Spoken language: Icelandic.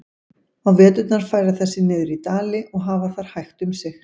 Á veturna færa þær sig niður í dali og hafa þar hægt um sig.